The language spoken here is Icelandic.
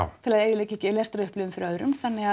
til að eyðileggja ekki lestrarupplifun fyrir öðrum þannig